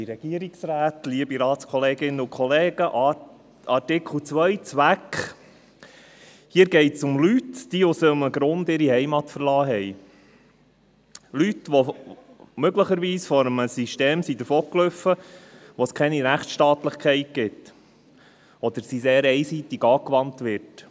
: Hier geht es um Leute, die aus einem Grund ihre Heimat verlassen haben – Leute, die möglicherweise vor einem System davongelaufen sind, in dem es keine Rechtsstaatlichkeit gibt oder in dem sie sehr einseitig angewandt wird.